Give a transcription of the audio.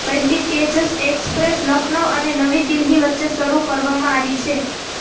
પહેલી તેજસ એક્સપ્રેસ લખનઉ અને નવી દિલ્હી વચ્ચે શરૂ કરવામાં આવી છે